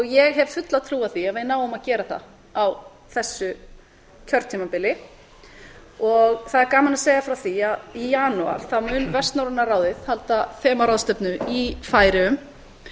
ég hef fulla trú á því að við náum að gera það á þessu kjörtímabili það er gaman að segja frá því að í janúar mun vestnorræna ráðið halda þemaráðstefnu í færeyjum